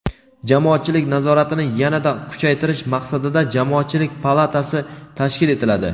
jamoatchilik nazoratini yana-da kuchaytirish maqsadida Jamoatchilik palatasi tashkil etiladi.